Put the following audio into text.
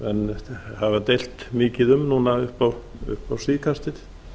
sem menn hafa deilt mikið um upp á síðkastið